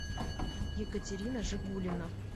екатерина жигулина